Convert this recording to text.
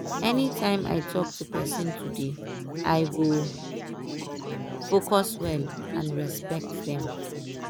anytime i talk to person today i go focus well and respect them.